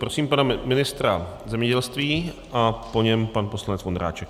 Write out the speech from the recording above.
Prosím pana ministra zemědělství a po něm pan poslanec Vondráček.